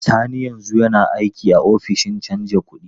Sani yanzu yana aiki a ofishin canja kuɗi.